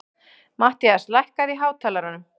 Mattías, lækkaðu í hátalaranum.